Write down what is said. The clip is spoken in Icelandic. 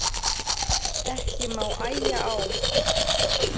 Ekki má æja á